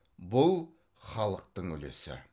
бұл халықтың үлесі